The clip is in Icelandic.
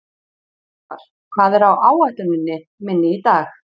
Örvar, hvað er á áætluninni minni í dag?